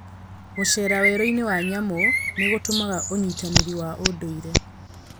Gũceera werũ-inĩ wa nyamũ nĩ gũtũmaga ũnyitanĩre na ũndũire.